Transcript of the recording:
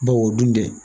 Bawo o dun tɛ